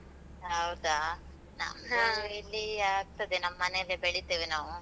ಹೌದಾ ಆಗ್ತದೆ. ನಮ್ಮನೇಲೆ ಬೆಳಿತೇವೆ ನಾವು.